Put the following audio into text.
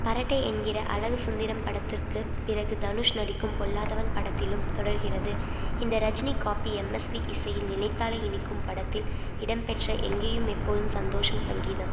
பரட்டை என்கிற அழகு சுந்தரம் படத்திற்குப் பிறகு தனுஷ் நடிக்கும் பொல்லாதவன் படத்திலும் தொடர்கிறது இந்த ரஜினி காப்பி எம்எஸ்வி இசையில் நினைத்தாலே இனிக்கும் படத்தில் இடம்பெற்ற எங்கேயும் எப்போதும் சந்தோஷம் சங்கீதம்